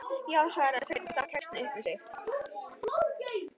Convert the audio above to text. Já, svaraði Sveinn og stakk kexinu upp í sig.